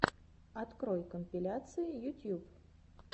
открой компиляции ютьюб